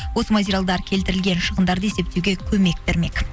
осы материалдар келтірілген шығындарды есептеуге көмек бермек